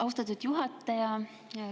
Austatud juhataja!